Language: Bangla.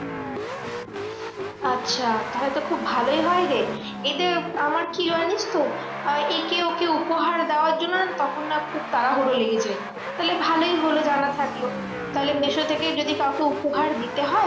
আচ্ছা তাহলে তো খুব ভালোই হয় রে, এদের আমার কি জানিসতো আহ একে ওকে দেওয়ার জন্য তখন না খুব তাড়াহুড়ো লেগে যায়। তাহলে ভালোই হলো জানা থাকলো, তাহলে মিশো থেকেই যদি কাউকে উপহার দিতে হয়